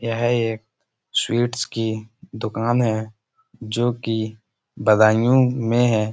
यह एक स्वीट्स की दुकान है जो कि बदायूं में है।